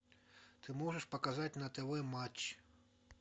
ты можешь показать на тв матч